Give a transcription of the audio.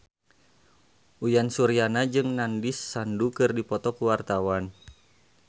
Uyan Suryana jeung Nandish Sandhu keur dipoto ku wartawan